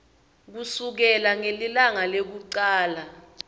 kusukela ngelilanga lekucala